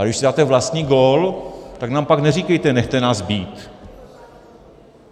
Ale když si dáte vlastní gól, tak nám pak neříkejte nechte nás být.